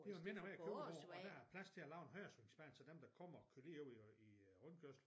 Det jo en mindre vej at køre ud på og der er plads til at lave en højresvingsbane så dem der kommer kører lige ud i øh rundkørslen